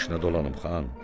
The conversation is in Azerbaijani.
Başına dolanım xan.